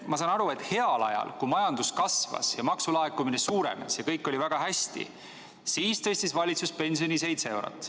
Ma saan aru, et heal ajal, kui majandus kasvas, maksulaekumine suurenes ja kõik oli väga hästi, siis tõstis valitsus pensioni seitse eurot.